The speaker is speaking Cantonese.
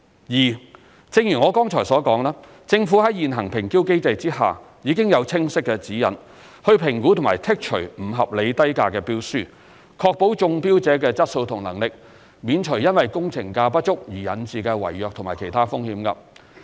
二正如我剛才所說，政府在現行評標機制下已有清晰指引，以評估和剔除不合理低價標書，確保中標者的質素和能力，免除因工程價不足而引致的違約及其他風險。